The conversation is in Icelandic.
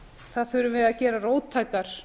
það þurfi að gera róttækar